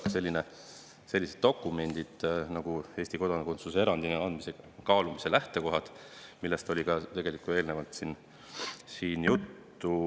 On olemas selline dokument nagu "Eesti kodakondsuse erandina andmise kaalumise lähtekohad", millest oli ka esitluses juttu.